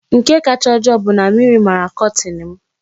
Nke kacha ojoo bụ na mmiri mara kọtin m.